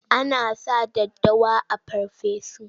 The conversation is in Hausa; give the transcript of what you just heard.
Ana sa daddawa a farfesu.